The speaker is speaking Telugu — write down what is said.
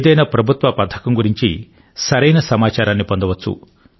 ఏదైనా ప్రభుత్వ పథకం గురించి సరైన సమాచారాన్ని పొందవచ్చు